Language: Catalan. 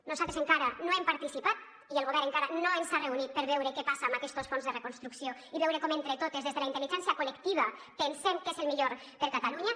nosaltres encara no hi hem participat i el govern encara no ens ha reunit per veure què passa amb aquests fons de reconstrucció i veure com entre totes des de la intel·ligència col·lectiva pensem què és el millor per a catalunya